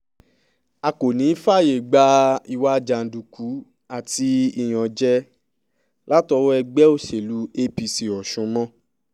a kò ní í fààyè gba ìwà jàǹdùkú àti ìyànjẹ látọwọ́ ẹgbẹ́ òṣèlú apc ọ̀sùn mọ́